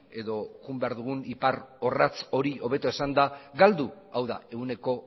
edo joan behar dugun ipar orratz hori hobeto esanda galdu hau da ehuneko